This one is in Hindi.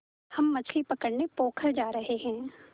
हम मछली पकड़ने पोखर जा रहें हैं